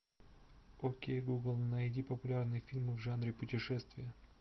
окей гугл найди популярные фильмы в жанре путешествия